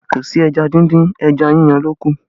Kò sí ẹja díndín, ẹja yíyan ló kù